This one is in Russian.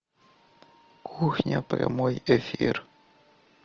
кухня прямой эфир